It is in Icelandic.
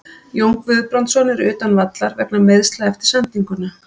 Jón Guðbrandsson er utan vallar vegna meiðsla eftir sendinguna.